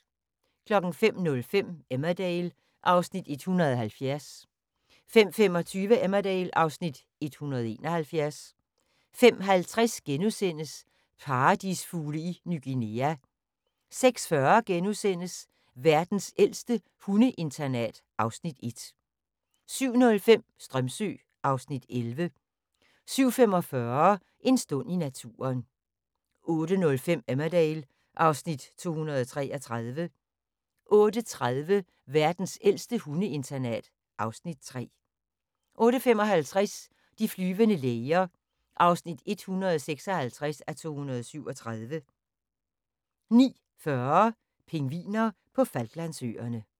05:05: Emmerdale (Afs. 170) 05:25: Emmerdale (Afs. 171) 05:50: Paradisfugle i Ny Guinea * 06:40: Verdens ældste hundeinternat (Afs. 1)* 07:05: Strömsö (Afs. 11) 07:45: En stund i naturen 08:05: Emmerdale (Afs. 233) 08:30: Verdens ældste hundeinternat (Afs. 3) 08:55: De flyvende læger (156:237) 09:40: Pingviner på Falklandsøerne